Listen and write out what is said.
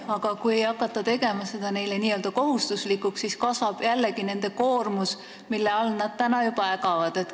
Aga kui teha see info edastamine neile kohustuslikuks, siis kasvab jällegi nende koormus, kuigi nad juba täna ägavad oma koormuse all.